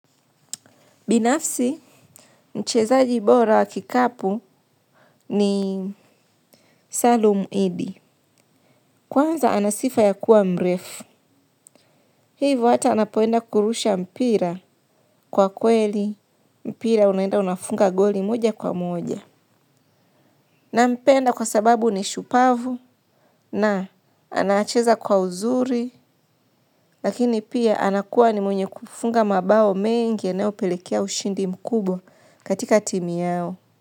Binafsi mchezaji bora wa kikapu ni salum iddi. Kwanza, anasifa ya kuwa mrefu. Hivo hata anapoenda kurusha mpira kwa kweli. Mpira unaenda unafunga goli moja kwa moja. Na mpenda kwa sababu ni shupavu na anacheza kwa uzuri. Lakini pia anakuwa ni mwenye kufunga mabao mengi eneo pelekea ushindi mkubwa katika timu yao.